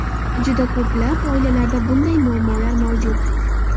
Juda ko‘plab oilalarda bunday muammolar mavjud.